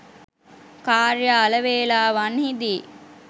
කාර්යාල වේලාවන්හිදී